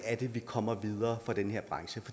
vi kommer videre fra den her branche